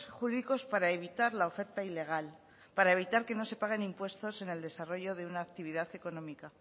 jurídicos para evitar la oferta ilegal para evitar que no se paguen impuestos en el desarrollo de una actividad económica